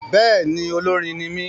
Bẹ́ẹ̀ni, olórin ní mí